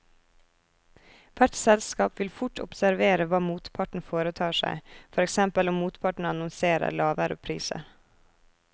Hvert selskap vil fort observere hva motparten foretar seg, for eksempel om motparten annonserer lavere priser.